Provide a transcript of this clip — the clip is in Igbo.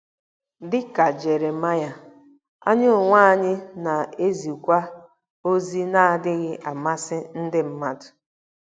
Dị ka Jeremaịa, anyị onwe anyị na-ezikwa ozi na-adịghị amasị ndị mmadụ.